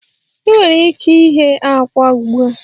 Ị nwere ike ighe àkwá ugbu a